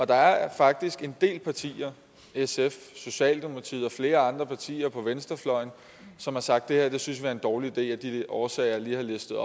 der er faktisk en del partier sf socialdemokratiet og flere andre partier på venstrefløjen som har sagt at det her synes vi er en dårlig idé af de årsager jeg lige har listet